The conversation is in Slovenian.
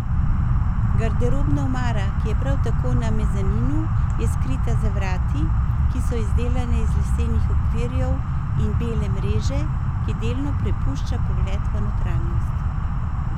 Garderobna omara, ki je prav tako na mezaninu, je skrita za vrati, ki so izdelane iz lesenih okvirjev in bele mreže, ki delno prepušča pogled v notranjost.